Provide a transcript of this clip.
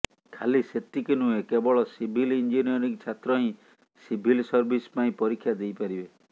ଖାଲି ସେତିକି ନୁହେଁ କେବଳ ସିଭିଲ୍ ଇଞ୍ଜିନିୟରିଂ ଛାତ୍ର ହିଁ ସିଭିଲ୍ ସର୍ଭିସ ପାଇଁ ପରୀକ୍ଷା ଦେଇପାରିବେ